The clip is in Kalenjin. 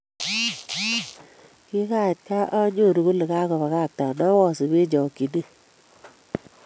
Kingait gaa anyoru kole kagobagaktan awasup eng chokchinet